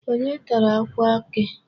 Onye tara akwa eke?